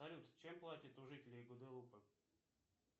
салют чем платят у жителей гваделупы